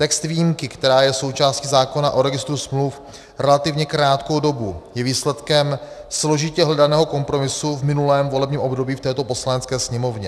Text výjimky, která je součástí zákona o registru smluv relativně krátkou dobu, je výsledkem složitě hledaného kompromisu v minulém volebním období v této Poslanecké sněmovně.